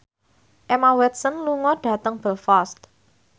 Emma Watson lunga dhateng Belfast